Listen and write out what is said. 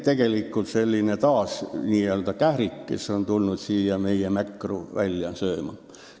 Tegelikult on see taas selline n-ö kährik, kes on tulnud siia meie mäkra välja sööma.